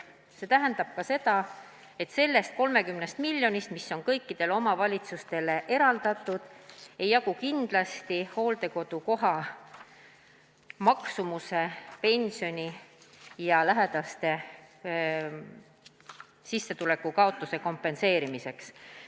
" See tähendab ka seda, et sellest 30 miljonist, mis on kõikidele omavalitsustele eraldatud, ei jagu kindlasti hooldekodukoha maksumuse, pensioni ja lähedaste sissetuleku kaotuse kompenseerimiseks.